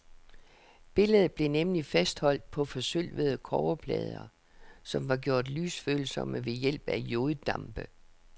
Billedet blev nemlig fastholdt på forsølvede kobberplader, som var gjort lysfølsomme ved hjælp af joddampe.